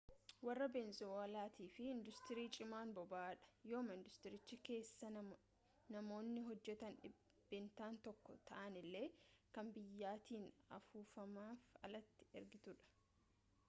warra benezuweellaatiif induustirii cimaan boba'aadha yooma induustiricha keessaa namoonni hojjetan dhibbeentaan tokko ta'anillee kan biyyattiin ofumaaf alatti ergitudha